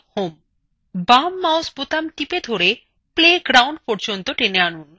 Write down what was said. বাম mouseবোতাম টিপে ধরে play ground পর্যন্ত টেনে আনুন